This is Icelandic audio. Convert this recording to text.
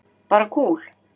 Bara kúl.